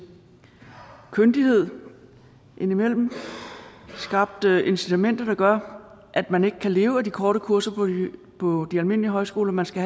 kyndighed indimellem skabt incitamenter der gør at man ikke kan leve af de korte kurser på de almindelige højskoler man skal